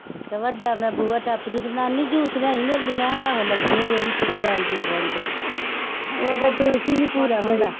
ਤੇ ਵੱਡਾ ਮੈਂ ਬੂਹਾ ਨਾਨੀ ਜੂਸ ਲਿਆਈ ਮੇਰੇ ਲਈ ਮੈਂ ਕਿਹਾ ਆਹੋ ਲੱਗੀ ਹਾਂ ਰੇੜੀ ਤੇ ਜਾਣ ਜੂਸ ਵਾਲੀ ਤੇ ਉਹਦਾ ਜੂਸ ਹੀ ਨੀ ਪੂਰਾ ਹੁੰਦਾ।